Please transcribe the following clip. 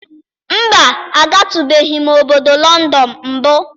Mba, agatụbeghị m obodo Lọndọnụ mbụ.